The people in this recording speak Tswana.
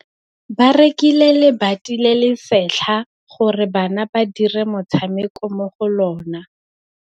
Ba rekile lebati le le setlha gore bana ba dire motshameko mo go lona.